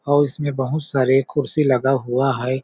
और इसमें बहुत सारे कुर्सी लगा हुआ हैं ।